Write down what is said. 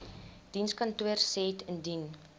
dienskantoor said indien